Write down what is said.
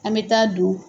An bɛ taa don